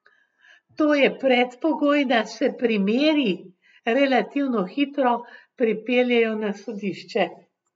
To je predpogoj, da se primeri relativno hitro pripeljejo na sodišče.